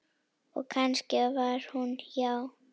Og kannski var hún hjá